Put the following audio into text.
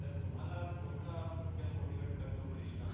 तर तुम्हाला कोणता पिक्चर मोटिवेट करतो कृष्णा